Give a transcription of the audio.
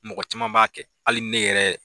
Mɔgɔ caman b'a kɛ hali ne yɛrɛ.